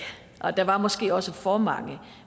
og der var måske også for mange